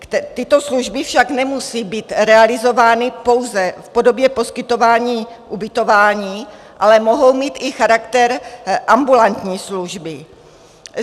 Tyto služby však nemusí být realizovány pouze v podobě poskytování ubytování, ale mohou mít i charakter ambulantní služby.